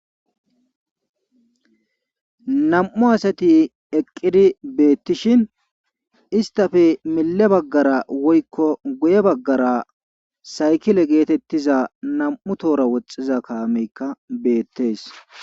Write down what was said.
Nam'u asati eqqidi beetishin istappe mille bagara woykko guye bagara saykile geetetiza nam'u tohora woxiza kaame kaamekka beetees.